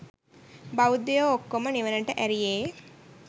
බෞද්ධයෝ ඔක්කොම නිවනට ඇරියේ.